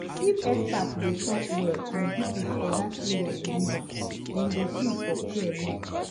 if expert dey talk well and people for that area believe am dem go gree for care more